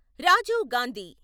Rajiv Gandhi